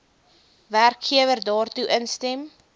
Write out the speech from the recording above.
werkgewer daartoe instem